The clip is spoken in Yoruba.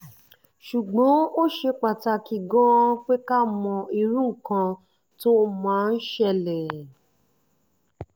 ṣùgbọ́n ó ṣe pàtàkì gan-an pé ká mọ irú nǹkan tó máa ń ṣẹlẹ̀